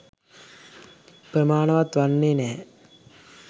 ප්‍රමාණවත් වන්නේ නැහැ